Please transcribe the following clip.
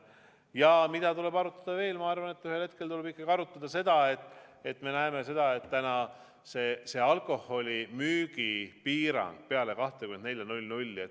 Ja mida tuleb veel arutada: ma arvan, et ühel hetkel tuleb ikkagi arutada alkoholimüügi piirangut peale kella 24.